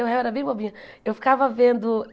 Eu era bem bobinha. Eu ficava vendo